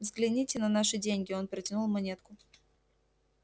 взгляните на наши деньги он протянул монетку